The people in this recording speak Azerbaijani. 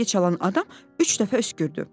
Zəngi çalan adam üç dəfə öskürdü.